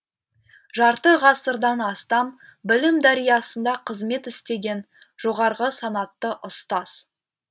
жарты ғасырдан астам білім дариясында қызмет істеген жоғарғы санатты ұстаз